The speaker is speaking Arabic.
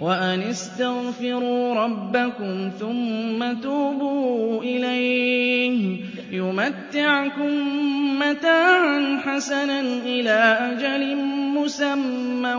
وَأَنِ اسْتَغْفِرُوا رَبَّكُمْ ثُمَّ تُوبُوا إِلَيْهِ يُمَتِّعْكُم مَّتَاعًا حَسَنًا إِلَىٰ أَجَلٍ مُّسَمًّى